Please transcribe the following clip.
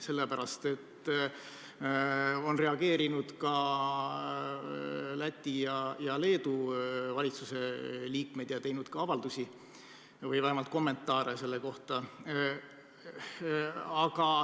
Sellele on reageerinud ka Läti ja Leedu valitsuse liikmed, kes on teinud avaldusi või vähemalt andnud kommentaare selle kohta.